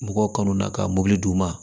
Mɔgɔw kanu na ka mɔbili d'u ma